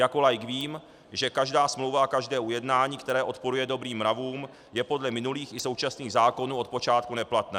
Jako laik vím, že každá smlouva a každé ujednání, které odporuje dobrým mravům, je podle minulých i současných zákonů od počátku neplatné.